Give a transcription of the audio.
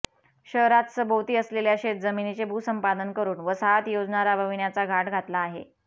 शहरात सभोवती असलेल्या शेतजमिनीचे भूसंपादन करून वसाहत योजना राबविण्याचा घाट घातला आहे